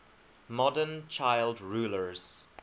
modern child rulers